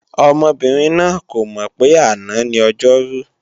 Ọmọbìnrin náà kò mọ̀ pé àná ni Ọjọ́rú